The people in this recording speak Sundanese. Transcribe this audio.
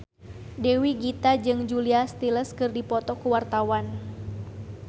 Dewi Gita jeung Julia Stiles keur dipoto ku wartawan